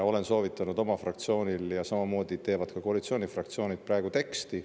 Olen soovitanud oma fraktsioonile ja samamoodi teevad ka teised koalitsioonifraktsioonid praegu teksti.